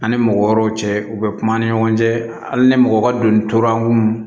An ni mɔgɔ wɛrɛw cɛ u bɛ kuma ani ɲɔgɔn cɛ hali ni mɔgɔ ka donni tora munnu